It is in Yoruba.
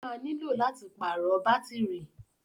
Ó ma nílò láti pàrọ̀ bátírì